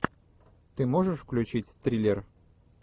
ты можешь включить триллер